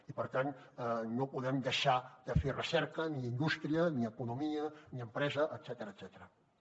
i per tant no podem deixar de fer recerca ni indústria ni economia ni empresa etcètera